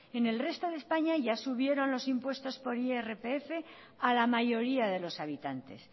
en el resto de españa ya subieron los impuestos por irpf a la mayoría de los habitantes